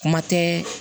Kuma tɛ